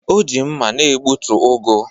O ji mma na-egbutu ugu